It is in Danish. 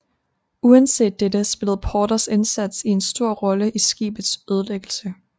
Uanset dette spillede Porters indsats en stor rolle i skibets ødelæggelse